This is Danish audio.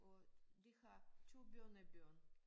Og de har 2 børnebørn